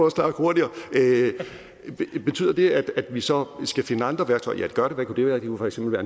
at snakke hurtigere betyder det at vi så skal finde andre værktøjer ja det gør det hvad kunne det være det kunne for eksempel